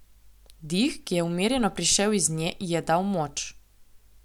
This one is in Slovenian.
Dih, ki je umirjeno prišel iz nje, ji je dal moč.